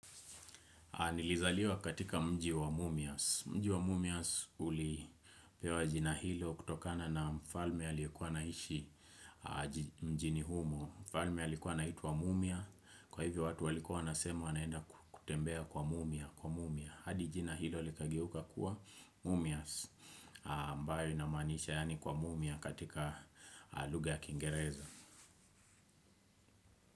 Nilizaliwa katika mji wa Mumias. Mji wa Mumias ulipewa jina hilo kutokana na mfalme aliyekua anaishi mjini humo. Mfalme alikuwa anaitwa Mumia. Kwa hivyo watu walikuwa wanasema wanaenda kutembea kwa Mumia. Hadi jina hilo likageuka kuwa Mumias. Ambayo inamanisha yaani kwa Mumia katika lugha ya Kingereza.